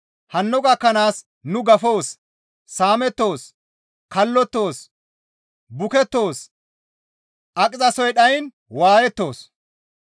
Hanno gakkanaas nu gafoos; saamettoos; kallottoos; bukettoos; aqizasoy dhayiin waayettoos.